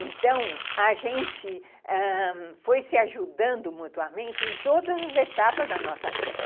Então, a gente ãh foi se ajudando mutuamente em todas as etapas da nossa vida.